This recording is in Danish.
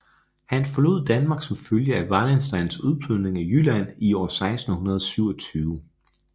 Han forlod Danmark som følge af Wallensteins udplyndring af Jylland i år 1627